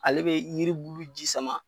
Ale be yiribulu ji sama